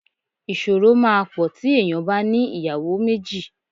Ìṣòro máa pọ̀ tí èèyàn bá ní ìyàwó méjì.